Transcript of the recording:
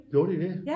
Gjorde de det